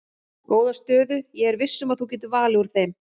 Góða stöðu ég er viss um að þú getur valið úr þeim.